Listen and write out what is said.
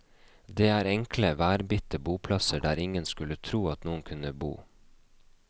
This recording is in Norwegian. Det er enkle, værbitte boplasser der ingen skulle tro at noen kunne bo.